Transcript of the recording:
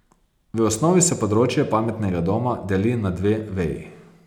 V osnovi se področje pametnega doma deli na dve veji.